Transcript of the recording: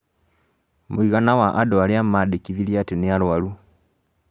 mũigana wa andũ arĩa mandĩkithirie atĩ nĩ arwaru